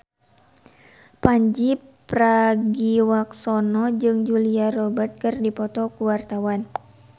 Pandji Pragiwaksono jeung Julia Robert keur dipoto ku wartawan